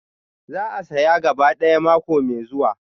Zan saya gaba ɗaya mako mai zuwa.